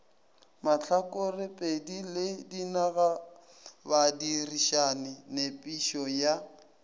mahlakorepedi le dinagabadirišani nepišo ya